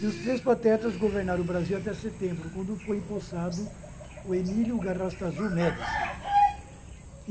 E os três patetas governaram o Brasil até setembro, quando foi empossado o Emílio Garrastazu Médici.